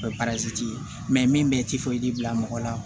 O ye ye min bɛ bila mɔgɔ la